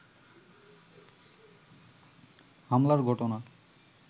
হামলার ঘটনা